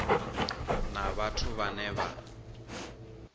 na vhathu vhane vha vha